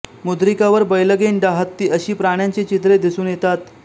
मुद्रिकावर बैलगेंडा हत्ती अशी प्राण्यांची चित्रे दिसून येतात